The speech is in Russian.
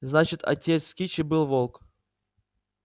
значит отец кичи был волк